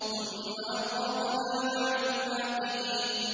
ثُمَّ أَغْرَقْنَا بَعْدُ الْبَاقِينَ